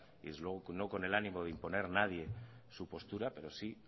y desde luego no con el ánimo de imponer nadie su postura pero sí